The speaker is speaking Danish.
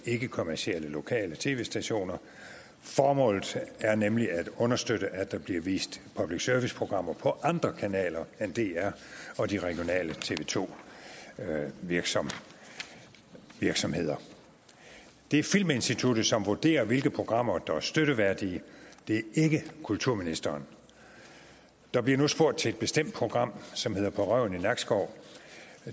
ikkekommercielle lokale tv stationer formålet er nemlig at understøtte at der bliver vist public service programmer på andre kanaler end dr og de regionale tv to virksomheder virksomheder det er filminstituttet som vurderer hvilke programmer der er støtteværdige det er ikke kulturministeren der bliver nu spurgt til et bestemt program som hedder på røven i nakskov